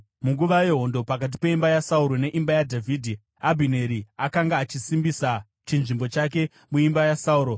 Munguva yehondo pakati peimba yaSauro neimba yaDhavhidhi, Abhineri akanga achisimbisa chinzvimbo chake muimba yaSauro.